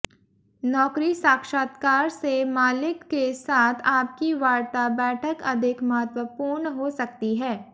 नौकरी साक्षात्कार से मालिक के साथ आपकी वार्ता बैठक अधिक महत्वपूर्ण हो सकती है